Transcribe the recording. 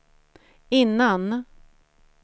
innan